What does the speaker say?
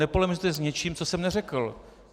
Nepolemizujte s něčím, co jsem neřekl!